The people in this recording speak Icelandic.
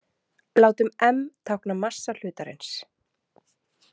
Látum m tákna massa hlutarins.